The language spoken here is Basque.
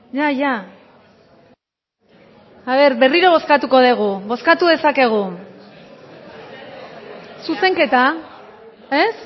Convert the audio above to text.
berriro bozkatuko dugu bozkatu dezakegu zuzenketa ez